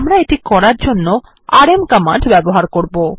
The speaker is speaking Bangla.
আমরা এটি করার জন্য আরএম কমান্ড ব্যবহার করবো